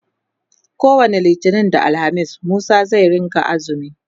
kowani littani da alhamis Musa zai rinka axumi